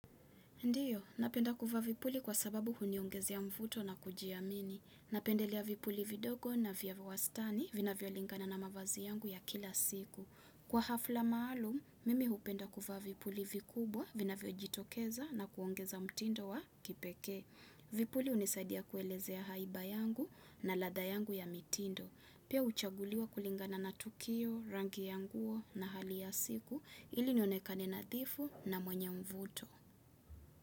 Ndiyo, napenda kuvaa vipuli kwa sababu huniongezea mvuto na kujiamini. Napendelea vipuli vidogo na vya wastani vinavyo lingana na mavazi yangu ya kila siku. Kwa hafla maalum, mimi hupenda kuvaa vipuli vikubwa vinavyo jitokeza na kuongeza mtindo wa kipekee. Vipuli hunisaidia kueleze ya haiba yangu na ladha yangu ya mitindo. Pia huchaguliwa kulingana na tukio, rangi ya nguo na hali ya siku ili nionekane nadhifu na mwenye mvuto.